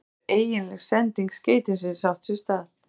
Síðan getur eiginleg sending skeytisins átt sér stað.